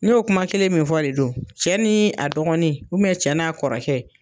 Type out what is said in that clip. N y'o kuma kelen min fɔ de don cɛ ni a dɔgɔnin cɛ n'a kɔrɔkɛ.